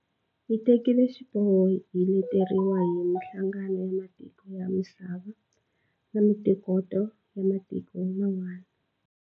Hi tekile xiboho hi leteriwile hi mihlangano ya matiko ya misava na mitokoto ya matiko man'wana.